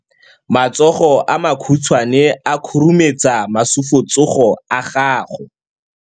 Matsogo a makhutshwane a khurumetsa masufutsogo a gago.